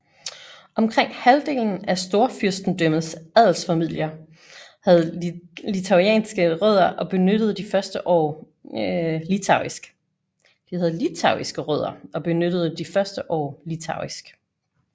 Omkring halvdelen af Storfyrstendømmets adelsfamilier havde litauiske rødder og benyttede de første år litauisk